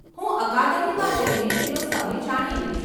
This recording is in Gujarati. હું અકાદમીમાં જઈને તેનો સમય જાણી લઈશ.